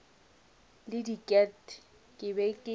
le diket ke be ke